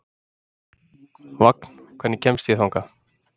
Vagn, hvernig kemst ég þangað?